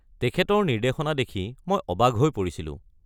তেখেতৰ নিৰ্দেশনা দেখি মই অবাক হৈ পৰিছিলো।